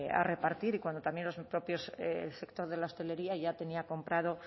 a repartir y cuando también los propios el sector de la hostelería ya tenía comprado